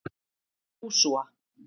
Jósúa